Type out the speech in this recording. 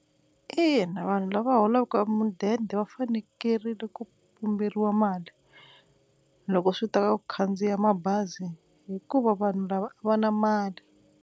Ina, vanhu lava holaka mudende va fanekerile ku pumberiwa mali loko swi ta ka ku khandziya mabazi hikuva vanhu lava a va na mali.